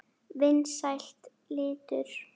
Vinsæll litur.